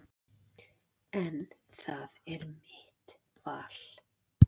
En það er mitt val.